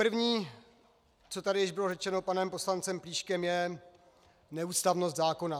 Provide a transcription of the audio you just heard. První, co tady již bylo řečeno panem poslancem Plíškem, je neústavnost zákona.